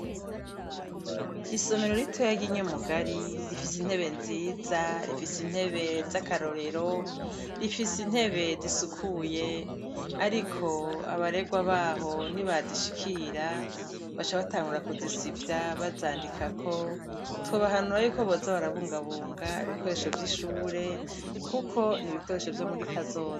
Isomero ritoya ry'i Nyamugari rifise intebe nziza, rifise intebe z'akarorero, rifise intebe zisukuye ariko abarerwa baho nibazishikira baca batangura kuzisivya bazandikako. Twobahanura yuko boza barabungabunga ibikoresho vy'ishure kuko ni ibikoresho vyo muri kazoza.